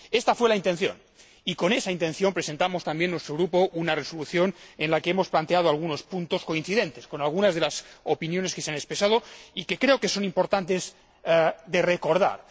Esta fue la intención, y con esa intención ha presentado también nuestro grupo una propuesta de resolución en la que hemos planteado algunos puntos coincidentes con algunas de las opiniones que se han expresado y que creo que es importante recordar.